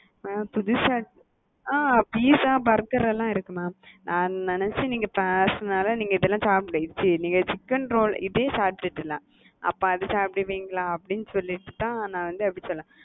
mam புதுசா அ pizza burger லாம் இருக்கு mam நான் நினச்சேன் நீங்க பேசுனனால நீங்க இதெல்லாம் சாப்டுவீங்க சீ நீங்க சிக்கன் ரோல அப்ப அத சாப்டுவீங்களா அப்படி சொல்லிடு தான் நான் அப்படி சொன்னேன்.